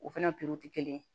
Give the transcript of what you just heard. O fɛnɛ porote